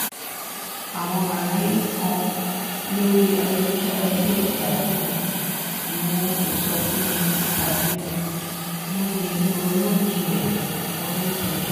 àwọn àlàyé kan lórí ayélujára le gbádùn mu ìsọfúnni tàbí um múni ronú jinlẹ̀. ronú jinlẹ̀.